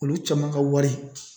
Olu caman ka wari